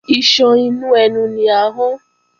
Iṣan inú ẹnu ni ahọ́n